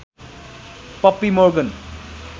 puppy Morgan